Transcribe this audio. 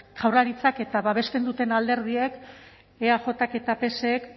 jaurlaritzak eta babesten duten alderdiek eajk eta psek